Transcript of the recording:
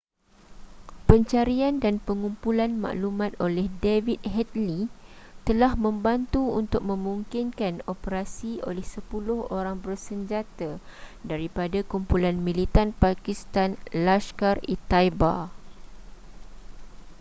pencarian dan pengumpulan maklumat oleh david headley telah membantu untuk memungkinkan operasi oleh 10 orang bersenjata daripada kumpulan militan pakistan laskhar-e-taiba